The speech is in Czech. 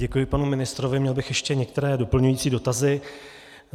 Děkuji panu ministrovi, měl bych ještě některé doplňující dotazy.